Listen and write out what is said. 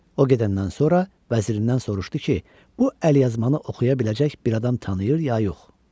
O gedəndən sonra vəzirindən soruşdu ki, bu əlyazmanı oxuya biləcək bir adam tanıyır, ya yox.